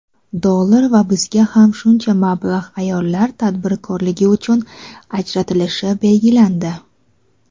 dollar va bizga ham shuncha mablag‘ ayollar tadbirkorligi uchun ajratilishi belgilandi.